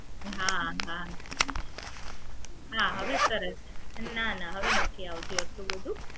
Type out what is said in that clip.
હા હા હા હવે સરસ છે નાના હવે નથી આવતું આટલું બધું